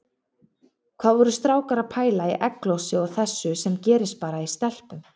Hvað voru strákar að pæla í egglosi og þessu sem gerist bara í stelpum!